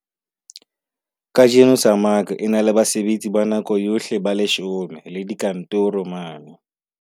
Kajeno SAMAG e na le basebetsi ba nako yohle ba 10 le dikantoro mane.